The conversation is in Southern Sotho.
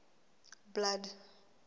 blood